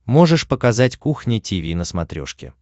можешь показать кухня тиви на смотрешке